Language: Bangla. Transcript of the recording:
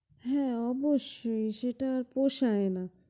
হ্যাঁ অবশ্যই সেটা পোষায় না।